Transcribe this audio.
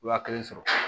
Wa kelen sɔrɔ